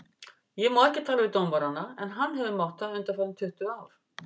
Ég má ekki tala við dómarana en hann hefur mátt það undanfarin tuttugu ár?